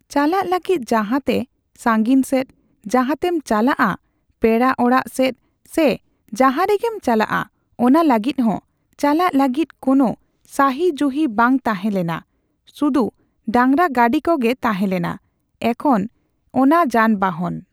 ᱪᱟᱞᱟᱜ ᱞᱟᱹᱜᱤᱫ ᱡᱟᱸᱦᱟ ᱛᱮ ᱥᱟᱺᱜᱤᱧ ᱥᱮᱫ ᱡᱟᱦᱟᱸᱛᱮᱢ ᱪᱟᱞᱟᱜᱼᱟ ᱯᱮᱲᱟ ᱚᱲᱟᱜ ᱥᱮᱫ ᱥᱮ ᱡᱟᱦᱟᱸ ᱨᱮᱜᱮᱢ ᱪᱟᱞᱟᱜᱼᱟ ᱚᱱᱟ ᱞᱟᱹᱜᱤᱫ ᱦᱚᱸ ᱪᱟᱞᱟᱜ ᱞᱟᱹᱜᱤᱫ ᱠᱳᱱᱳ ᱥᱟᱦᱤ ᱡᱩᱦᱤ ᱵᱟᱝ ᱛᱟᱦᱮᱸ ᱞᱮᱱᱟ, ᱥᱩᱫᱩ ᱰᱟᱝᱨᱟ ᱜᱟᱹᱰᱤ ᱠᱚᱜᱮ ᱛᱟᱡᱮᱸᱞᱮᱱᱟ ᱾ᱮᱠᱷᱚᱱ ᱚᱱᱟ ᱡᱟᱱ ᱵᱟᱦᱚᱱ